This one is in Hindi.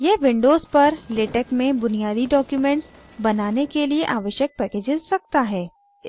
यह windows पर latex में बुनियादी documents बनाने के लिए आवश्यक packages रखता है